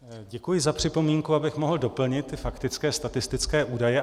Děkuji za připomínku, abych mohl doplnit ty faktické statistické údaje.